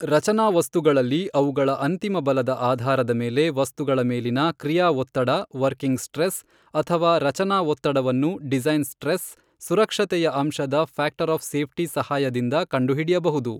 ರಚನಾವಸ್ತುಗಳಲ್ಲಿ ಅವುಗಳ ಅಂತಿಮಬಲದ ಆಧಾರದ ಮೇಲೆ ವಸ್ತುಗಳ ಮೇಲಿನ ಕ್ರಿಯಾಒತ್ತಡ ವರ್ಕಿಂಗ್ ಸ್ಟ್ರೆಸ್ ಅಥವಾ ರಚನಾಒತ್ತಡವನ್ನು ಡಿಸೈನ್ ಸ್ಟ್ರೆಸ್ ಸುರಕ್ಷತೆಯ ಅಂಶದ ಫ್ಯಾಕ್ಟರ್ ಆಫ್ ಸೇಫ್ಟಿ ಸಹಾಯದಿಂದ ಕಂಡು ಹಿಡಿಯಬಹುದು.